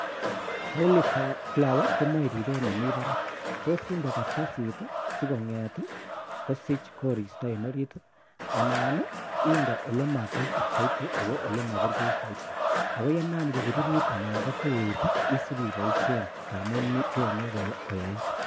oliveflower komoe ripet nemi barak tosinde kartasit sigonget ii kosich koristo en orit anan inde olemagatit soiti ako olemoburgei ako yenam kobiririt ana kotuit isipiboishen tamun chenge koyait.